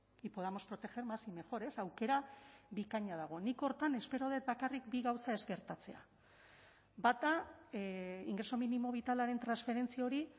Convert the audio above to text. y podamos proteger más y mejor ez aukera bikaina dago nik horretan espero dut bakarrik bi gauza ez gertatzea bata ingreso mínimo vitalaren transferentzia hori